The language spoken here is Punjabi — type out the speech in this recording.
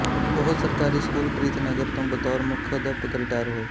ਉਹ ਸਰਕਾਰੀ ਸਕੂਲ ਪ੍ਰੀਤਨਗਰ ਤੋਂ ਬਤੌਰ ਮੁੱਖ ਅਧਿਆਪਕ ਰਿਟਾਇਰ ਹੋਏ